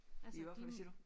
I hvad for siger du?